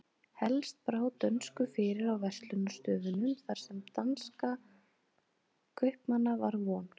Helst brá dönsku fyrir á verslunarstöðunum þar sem danskra kaupmanna var von.